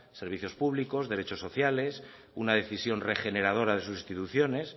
servicios públicos derechos sociales una decisión regeneradora de sus instituciones